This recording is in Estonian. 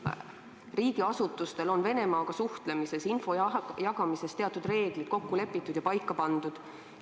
Eesti riigiasutustel on Venemaaga suhtlemisel info jagamise kohta teatud reeglid kokku lepitud ja paika pandud.